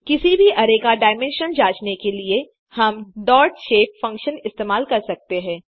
किसी भी अरै का डायमेंशन जाँचने के लिए हम डॉटशेप फंक्शन इस्तेमाल कर सकते हैं